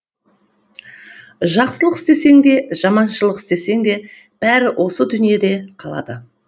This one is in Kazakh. жақсылық істесең де жаманшылық істесең де бәрі осы дүниеде қалады